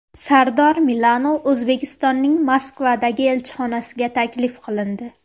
Sardor Milano O‘zbekistonning Moskvadagi elchixonasiga taklif qilindi.